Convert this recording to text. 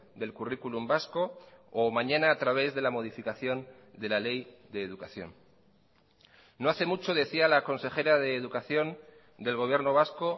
del currículum vasco o mañana a través de la modificación de la ley de educación no hace mucho decía la consejera de educación del gobierno vasco